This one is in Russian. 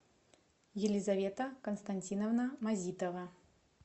елизавета константиновна мазитова